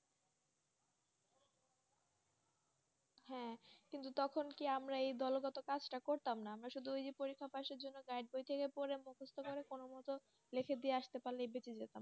হ্যাঁ। কিন্তু তখন কি আমরা এই দলগত কাজ টা করতাম না। আমরা শুধু ঐ যে পরীক্ষা পাসের জন্যে guide বই থেকে পড়ে মুখস্ত করে কোনও মতো লিখে দিয়ে আসতে পারলেই বেঁচে যেতাম।